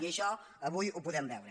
i això avui ho podem veure